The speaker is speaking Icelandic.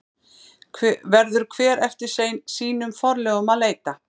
Verður hver eftir sínum forlögum að leita.